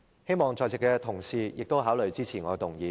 希望在席的同事亦考慮支持我的修正案。